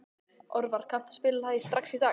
Orvar, kanntu að spila lagið „Strax í dag“?